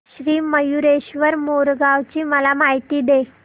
श्री मयूरेश्वर मोरगाव ची मला माहिती दे